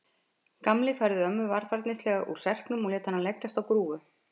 Gamli færði ömmu varfærnislega úr serknum og lét hana leggjast á grúfu.